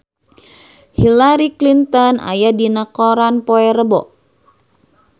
Hillary Clinton aya dina koran poe Rebo